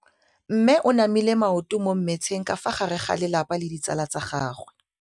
Mme o namile maoto mo mmetseng ka fa gare ga lelapa le ditsala tsa gagwe.